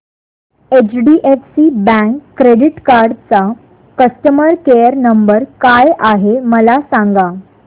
HDFC bank credit card चा customer care number काय आहे मला सांगा